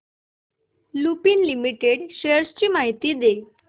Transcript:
Lupin limited shares ची माहिती दे